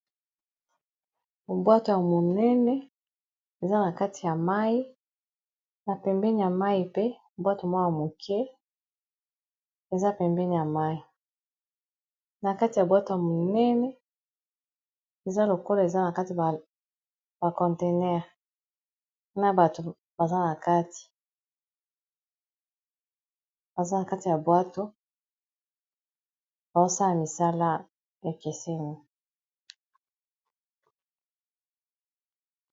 Bwato ya monene eza na kati ya mai. Na pembeni ya mai pe, bwato moko ya moke eza pembeni ya mai. Na kati ya bwato ya monene, eza lokola eza na kati ba conteneur. Na bato baza na kati ya bwato, bazo sala misala ekeseni.